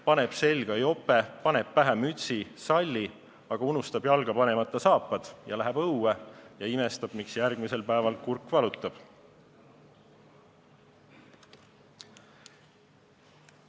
Paneb selga jope, paneb pähe mütsi, kaela salli, aga unustab jalga panemata saapad ja läheb õue ja imestab, miks tal järgmisel päeval kurk valutab.